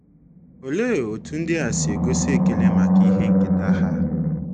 Olee otú ndia si gosi ekele maka ihe nketa ha?